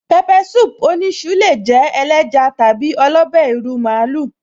Pepper soup oníṣu lè jẹ́ ẹléja tàbí ọlọ́bẹ́ ìrù màálù